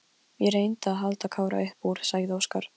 Ég reyndi að halda Kára upp úr, sagði Óskar.